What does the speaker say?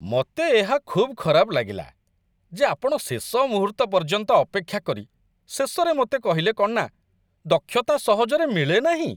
ମୋତେ ଏହା ଖୁବ୍ ଖରାପ ଲାଗିଲା ଯେ ଆପଣ ଶେଷ ମୁହୂର୍ତ୍ତ ପର୍ଯ୍ୟନ୍ତ ଅପେକ୍ଷା କରି ଶେଷରେ ମୋତେ କହିଲେ କ'ଣ ନା ଦକ୍ଷତା ସହଜରେ ମିଳେନାହିଁ।